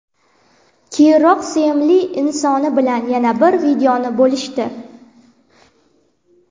Keyinroq sevimli insoni bilan yana bir videoni bo‘lishdi.